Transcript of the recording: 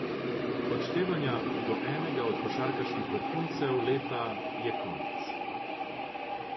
Odštevanja do enega od košarkarskih vrhuncev leta je konec.